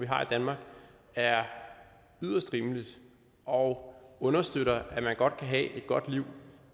har i danmark er yderst rimeligt og understøtter at man godt kan have et godt liv